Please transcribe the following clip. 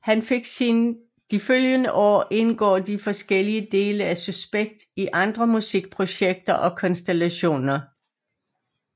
De følgende år indgår de forskellige dele af Suspekt i andre musikprojekter og konstellationer